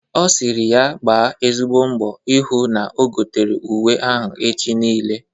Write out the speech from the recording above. Ọ sịrị ya gba ezigbo mbọ ịhụ na o gotere uwe ha echi niile.